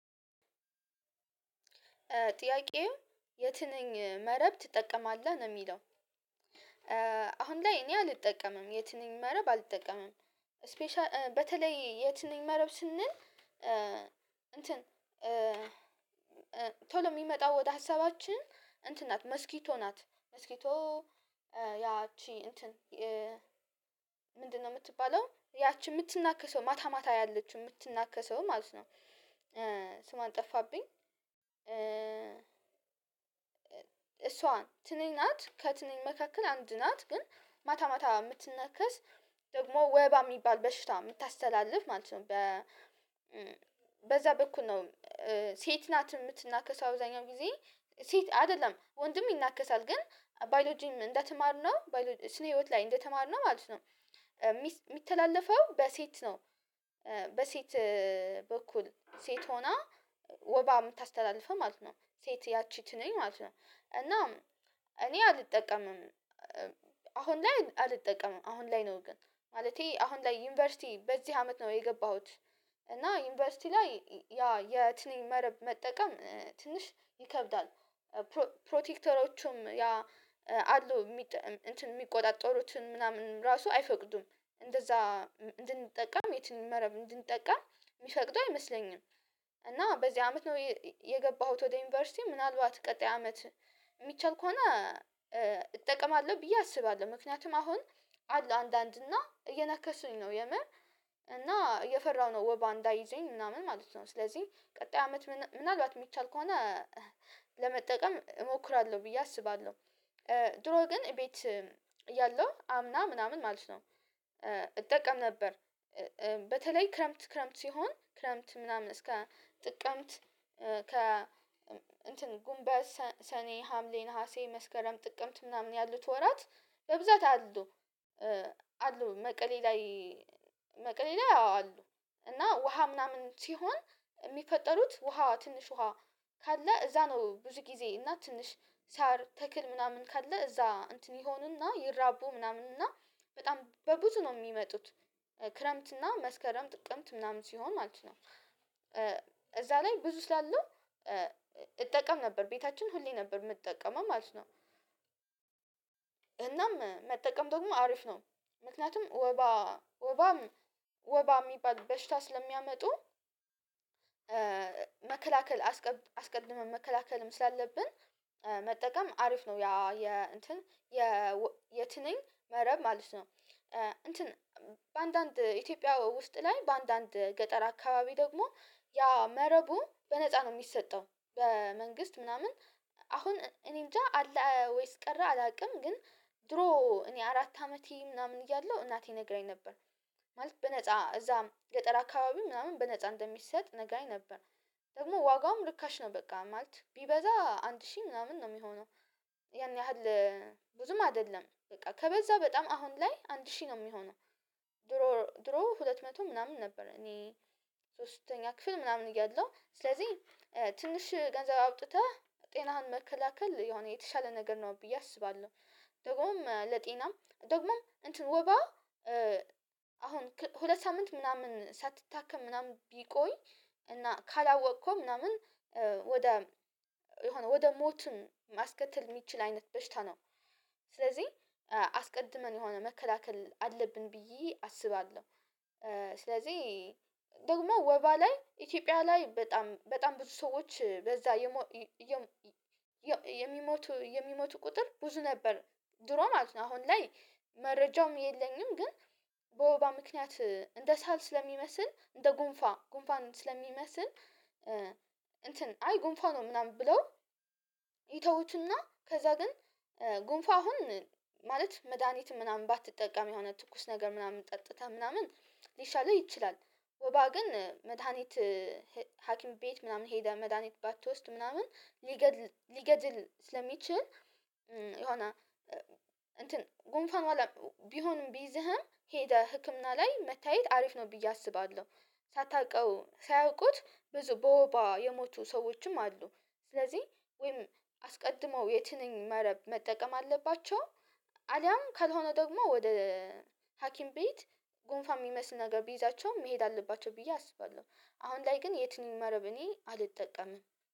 ጥያቄው የትንኝ መረብ ትጠቀማለህ ነው የሚለው? አሁን ላይ እኔ አልጠቀምም የትንኝ መረብ አልጠቀምም። ስፔሻል በተለይ የት ነኝ መረብ ስንል እንትን ቶሎ ሚመጣው ወደ ሀሳባችን እንትን ናት መስኪቶ ናት መስኪቶ ያቺ እንትን ምንድነው ምትባለው ያቺ ምትናከሰው ማታ ማታ ያለችው ምትናከሰው ማለት ነው። ስሟን ጠፋብኝ እሷ ትንኝ ናት ከትንኝ መካከል አንድ ናት ግን ማታ ማታ ምትናከስ ደግሞ ወባ የሚባል በሽምታስተላልፍ ማለት ነው። በዛ በኩል ነው። ሴት ናት ምትናከሰው አብዛኛው ጊዜ ሴት አይደለም ወንድም ይናከሳል ግን ባዮሎጂም እንደተማርነው ስነ ህይወት ላይ እንደተማርነው ማለት ነው ሚተላለፈው በሴት ነው። በሴት በኩል ሴት ሆና ወባ ምታስተላልፈው ማለት ነው ሴት ያቺ ትንኝ ማለት ነው። እና እኔ አልጠቀምም። አሁን ላይ አልጠቀምም አሁን ላይ ነው ግን ማለቴ አሁን ላይ ዩኒቨርሲቲ በዚህ አመት ነው የገባሁት እና ዩኒቨርሲቲ ላይ ያ የትንኝ መረብ መጠቀም ትንሽ ይከብዳል። ፕሮቴክተሮቹም ያ አሉ እንትን ሚቆጣጠሩትን ምናምን ራሱ አይፈቅዱም እንደዛ እንድንጠቀም የትኛውም መረብ እንድንጠቀም የሚፈቅዱ አይመስለኝም። እና በዚህ አመት ነው የገባሁት ወደ ዩኒቨርሲቲ ምናልባት ቀጣይ አመት ሚቻል ከሆነ እጠቀማለሁ ብዬ አስባለሁ ምክንያቱም አሁን አለ አንዳንድ እና እየነከሱኝ ነው የምር እና እየፈራሁ ነው ወባ እንዳይዘኝ ምናምን ማለት ነው። ስለዚህ ቀጣይ አመት ምናልባት የሚቻል ከሆነ ለመጠቀም እሞክራለሁ ብዬ አስባለሁ። ድሮ ግን እቤት እያለው አምና ምናምን ማለት ነው እጠቀም ነበር። በተለይ ክረምት ክረምት ሲሆን ክረምት ምናምን እስከ ጥቅምት እንትን ጉንበት ሰኔ ሀምሌ ነሀሴ መስከረም ጥቅምት ምናምን ያሉት ወራት በብዛት አሉ አሉ መቀሌ ላይ መቀሌ ላይ አሉ። እና ውሃ ምናምን ሲሆን የሚፈጠሩት ውሃ ትንሽ ውሃ ካለ እዛ ነው ብዙ ጊዜ እና ትንሽ ሳር ተክል ምናምን ካለ እዛ እንትን ይሆንና ይራቡ ምናምን እና በጣም በብዙ ነው ሚመጡት ክረምት እና መስከረም ጥቅምት ምናምን ሲሆን ማለት ነው። እዛ ላይ ብዙ ስላለው እጠቀም ነበር ቤታችን ሁሌ ነበር ምጠቀመው ማለት ነው። እናም መጠቀም ደግሞ አሪፍ ነው ምክንያቱም ወባ ወባም ወባ ሚባል በሽታ ስለሚያመጡ መከላከል አስቀድመን መከላከልም ስላለብን መጠቀም አሪፍ ነው። ያ የእንትን የ የትንኝ መረብ ማለት ነው። እንትን በአንዳንድ ኢትዮጵያ ውስጥ ላይ በአንዳንድ ገጠር አካባቢ ደግሞ ያ መረቡ በነፃ ነው የሚሰጠው በመንግስት ምናምን አሁን እኔ እንጃ አለ ወይስ ቀረ አላቅም። ግን ድሮ እኔ አራት አመቴ ምናምን እያለሁ እናቴ ነግራኝ ነበር ማለት በነፃ እዛ ገጠር አካባቢ ምናምን በነፃ እንደሚሰጥ ነግራኝ ነበር ደግሞ ዋጋውም ርካሽ ነው በቃ ማለት ቢበዛ አንድ ሺህ ምናምን ነው የሚሆነው። ያን ያህል ብዙም አይደለም በቃ ከበዛ በጣም አሁን ላይ አንድ ሺህ ነው የሚሆነው። ድሮ ድሮ ሁለት መቶ ምናምን ነበር እኔ ሶስተኛ ክፍል ምናምን እያለሁ ስለዚህ ትንሽ ገንዘብ አውጥተህ ጤናህን መከላከል የሆነ የተሻለ ነገር ነው ብዬ አስባለሁ። ደግሞም ለጤናም ደግሞም እንትን ወባ አሁን ሁለት ሳምንት ምናምን ሳትታከም ምናምን ቢቆይ እና ካላወቅከው ምናምን ወደ የሆነ ወደ ሞትም ማስከተል የሚችል አይነት በሽታ ነው። ስለዚህ አስቀድመን የሆነ መከላከል አለብን ብዬ አስባለሁ። ስለዚህ ደግሞ ወባ ላይ ኢትዮጵያ ላይ በጣም በጣም ብዙ ሰዎች በዛ የሚሞቱ የሚሞቱ ቁጥር ብዙ ነበር ድሮ ማለት ነው። አሁን ላይ መረጃውም የለኝም። ግን በወባ ምክንያት እንደ ሳል ስለሚመስል እንደ ጉንፋ ጉንፋን ስለሚመስል እንትን አይ ጉንፋ ነው ምናምን ብለው ይተውትና ከዛ ግን ጉንፋ አሁን ማለት መድሃኒት ምናምን ባትጠቀም የሆነ ትኩስ ነገር ምናምን ጠጥተህ ምናምን ሊሻልህ ይችላል። ወባ ግን መድሃኒት ሀኪም ቤት ምናምን ሄደህ መድሃኒት ባትወስድ ምናምን ሊገድል ሊገድል ስለሚችል። የሆነ እንትን ጉንፋን ቢሆንም ቢይዝህም ሄደህ ህክምና ላይ መታየት አሪፍ ነው ብዬ አስባለሁ። ሳታቀው ሳያውቁት ብዙ በወባ የሞቱ ሰዎችም አሉ። ስለዚህ ወይም አስቀድመው የትንኝ መረብ መጠቀም አለባቸው። አሊያም ካልሆነ ደግሞ ወደ ሀኪም ቤት ጉንፋ የሚመስል ነገር ቢይዛቸውም መሄድ አለባቸው ብዬ አስባለሁ። አሁን ላይ ግን የትንኝ መረብ እኔ አልጠቀምም